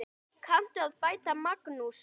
Kanntu að bæta, Magnús?